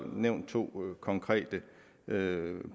nævnt to konkrete